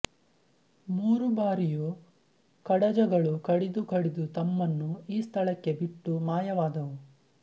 ಮೂರೂ ಬಾರಿಯೂ ಕಡಜಗಳು ಕಡಿದು ಕಡಿದು ತಮ್ಮನ್ನು ಈ ಸ್ಥಳಕ್ಕೆ ಬಿಟ್ಟು ಮಾಯವಾದವು